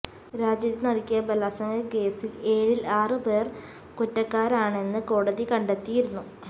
രാജ്യത്തെ നടുക്കിയ ബലാത്സംഗക്കേസില് ഏഴിൽ ആറ് പേർ കുറ്റക്കാരാണെന്ന് കോടതി കണ്ടെത്തിയിരുന്നു